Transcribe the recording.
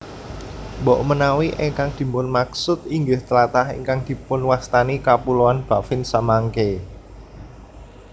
Mbokmenawi ingkang dipunmaksud inggih tlatah ingkang dipunwastani Kapuloan Baffin samangké